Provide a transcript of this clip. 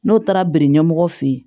N'o taara biri ɲɛmɔgɔ fe yen